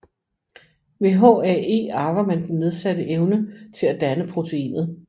Ved HAE arver man den nedsatte evne til at danne proteinet